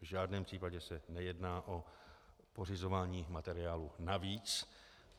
V žádném případě se nejedná o pořizování materiálu navíc.